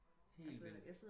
helt vildt